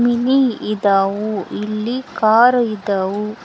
mini ಇದಾವು ಇಲ್ಲಿ car ಇದಾವು --